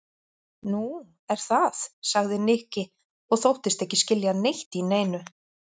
Nú, er það? sagði Nikki og þóttist ekki skilja neitt í neinu.